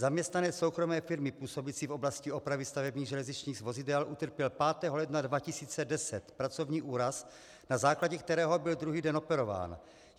Zaměstnanec soukromé firmy působící v oblasti opravy stavebních železničních vozidel utrpěl 5. ledna 2010 pracovní úraz, na základě kterého byl druhý den operován.